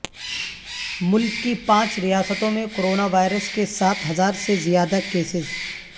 ملک کی پانچ ریاستوں میں کورونا وائرس کے سات ہزار سے زیادہ کیسز